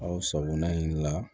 Aw sakona in la